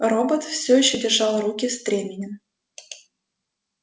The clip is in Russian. робот все ещё держал руки стременем